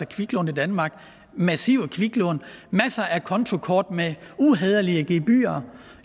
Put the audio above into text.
kviklån i danmark massive kviklån masser af kontokort med uhæderlige gebyrer